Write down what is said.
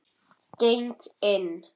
Geng inn.